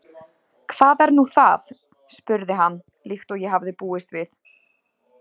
Hvað er nú það? spurði hann, líkt og ég hafði búist við.